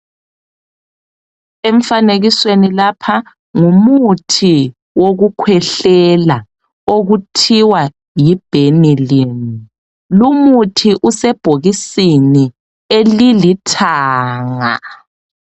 Emfanekisweni lapha ngumuthi wokukhwehlela okuthiwa yiBhenilin, Lumuthi usebhokisini elilithanga.